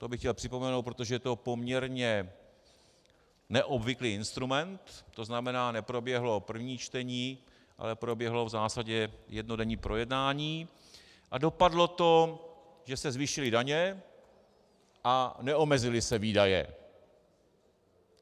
To bych chtěl připomenout, protože to je poměrně neobvyklý instrument, to znamená, neproběhlo první čtení, ale proběhlo v zásadě jednodenní projednání a dopadlo to, že se zvýšily daně a neomezily se výdaje.